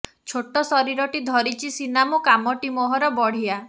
ଛୋଟ ଶରୀରଟି ଧରିଛି ସିନା ମୁଁ କାମଟି ମୋହର ବଢ଼ିଆ